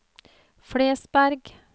Flesberg